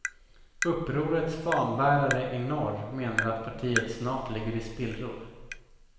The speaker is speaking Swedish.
Upprorets fanbärare i norr menar att partiet snart ligger i spillror.